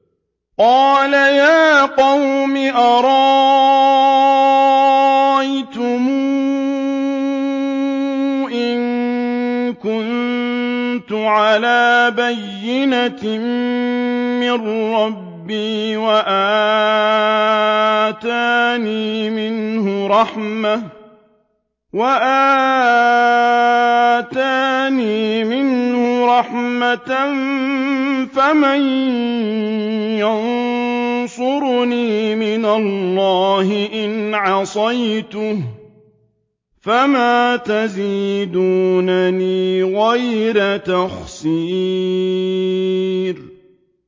قَالَ يَا قَوْمِ أَرَأَيْتُمْ إِن كُنتُ عَلَىٰ بَيِّنَةٍ مِّن رَّبِّي وَآتَانِي مِنْهُ رَحْمَةً فَمَن يَنصُرُنِي مِنَ اللَّهِ إِنْ عَصَيْتُهُ ۖ فَمَا تَزِيدُونَنِي غَيْرَ تَخْسِيرٍ